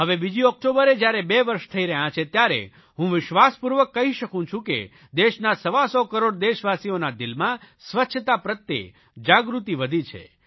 હવે બીજી ઓકટોબરે જયારે બે વર્ષ થઇ રહ્યા છે ત્યારે હું વિશ્વાસપૂર્વક કહી શકું છું કે દેશના સવાસો કરોડ દેશવાસીઓના દિલમાં સ્વચ્છતા પ્રત્યે જાગૃતિ વધી છે